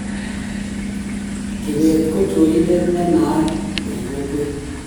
Kibet ko chorindet ne naat eng kokwet